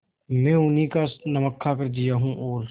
मैं उन्हीं का नमक खाकर जिया हूँ और